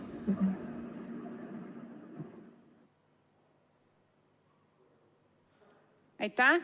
Aitäh!